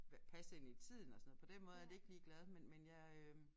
Passe ind tiden og sådan noget på den måde er det ikke ligeglad men men jeg øh